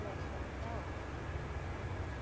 Dançamos na ópera.